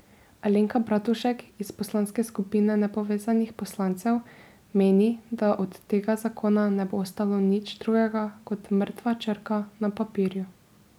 Alenka Bratušek iz poslanske skupine nepovezanih poslancev meni, da od tega zakona ne bo ostalo nič drugega kot mrtva črka na papirju.